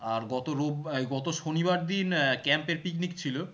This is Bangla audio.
আর গত রোব্বা~ এই গত শনিবার দিন আহ camp এর picnic ছিল